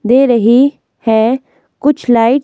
दे रही है कुछ लाइट्स --